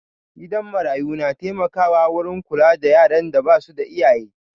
Gidan marayu na taimaka wurin kula da yaran da basu da iyaye